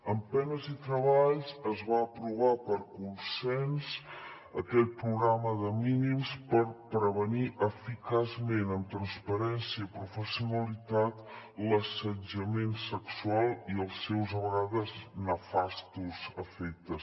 amb penes i treballs es va aprovar per consens aquell programa de mínims per prevenir eficaçment amb transparència i professionalitat l’assetjament sexual i els seus a vegades nefastos efectes